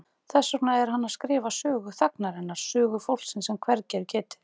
Þess vegna er hann að skrifa sögu þagnarinnar, sögu fólksins sem hvergi er getið.